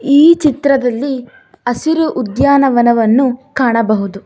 ಈ ಚಿತ್ರದಲ್ಲಿ ಹಸಿರು ಉದ್ಯಾನವನವನ್ನು ಕಾಣಬಹುದು.